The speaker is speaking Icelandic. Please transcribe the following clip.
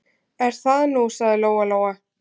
Er það nú, sagði Lóa-Lóa.